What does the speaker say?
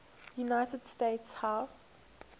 united states house